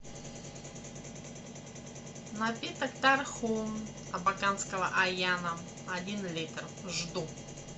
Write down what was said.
напиток тархун абаканского аяна один литр жду